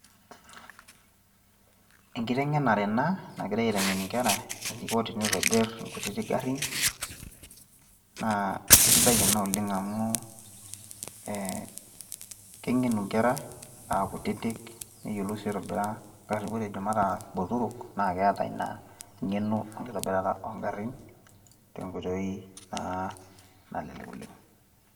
enkiteng'enare ena nagirae aitengen inkera eneiko teneitobir ingarin, naa kisidai ena oleng amu keng'enu nkera, aakutitik, neyiolou ninye aitobira ngarin, ore ejo mataa botorok, naa keeta ina ngeno enkitobirata oogarin tenkoitoi naa nalelek oleng.